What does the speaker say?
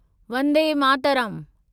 Vande Mataram